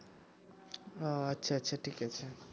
ও আচ্ছা আচ্ছা ঠিক আছে